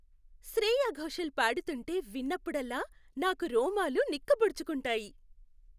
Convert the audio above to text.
శ్రేయా ఘోషల్ పాడుతుంటే విన్నప్పుడల్లా, నాకు రోమాలు నిక్కపొడుచుకుంటాయి.